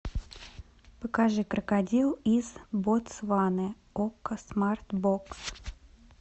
покажи крокодил из ботсваны окко смарт бокс